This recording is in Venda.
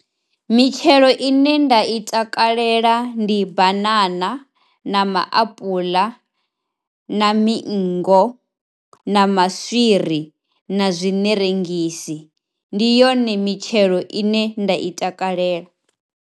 Mitshelo ine nda i takalela ndi banana na maapula na miingo na maswiri na zwiṋerengisi, ndi yone mitshelo ine nda i takalela.